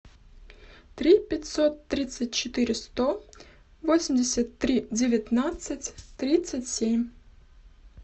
три пятьсот тридцать четыре сто восемьдесят три девятнадцать тридцать семь